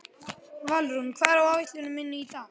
Valrún, hvað er á áætluninni minni í dag?